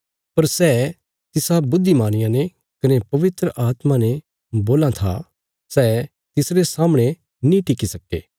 पर सै तिसा बुद्धिमानिया ने कने पवित्र आत्मा ने बोलां था सै तिसरे सामणे नीं टिकि सक्के